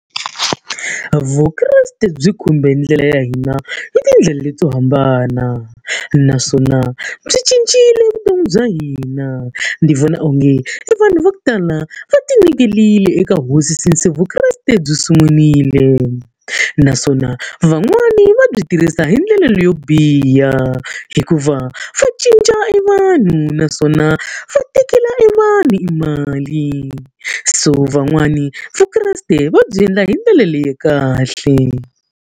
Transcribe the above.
Vukreste byi khumbe ndlela ya hina hi tindlela leto hambana, naswona byi cincile vutomi bya hina. Ndzi vona onge evanhu va ku tala va tinyiketerile eka hosi since Vukreste byi sungurile. Naswona van'wani va byi tirhisa hi ndlela leyo biha, hikuva va cinca evanhu naswona va tekela evanhu emali. So van'wani vukreste va byi endla hi ndlela leya kahle.